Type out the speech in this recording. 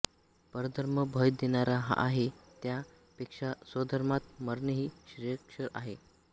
परधर्म भय देणारा आहे त्या पेक्षा स्वधर्मात मरणेही श्रेयस्कर आहे